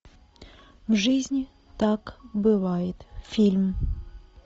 в жизни так бывает фильм